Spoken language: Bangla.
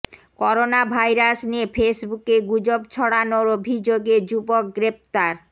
করোনা ভাইরাস নিয়ে ফেসবুকে গুজব ছড়ানোর অভিযোগে যুবক গ্রেফতার